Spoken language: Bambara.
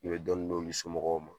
U bɛ dɔɔnin d'olu somɔgɔw ma.